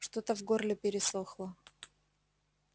что-то в горле пересохло